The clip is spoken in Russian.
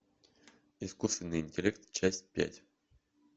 искусственный интеллект часть пять